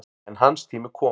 En hans tími kom.